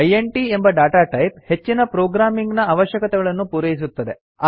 int ಎಂಬ data type ಹೆಚ್ಚಿನ programming ನ ಅವಶ್ಯಕತೆಗಳನ್ನು ಪೂರೈಸುತ್ತದೆ